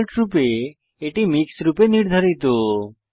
ডিফল্টরূপে এটি মিক্স রূপে নির্ধারিত